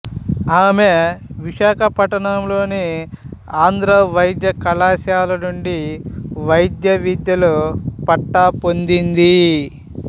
ఆమె విశాఖపట్నంలోని ఆంధ్ర వైద్య కళాశాల నుండి వైద్యవిద్యలో పట్టా పొందినది